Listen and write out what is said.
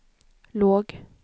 låg